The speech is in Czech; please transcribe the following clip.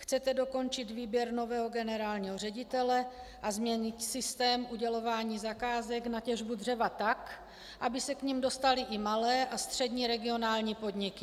Chcete dokončit výběr nového generálního ředitele a změnit systém udělování zakázek na těžbu dřeva tak, aby se k nim dostaly i malé a střední regionální podniky.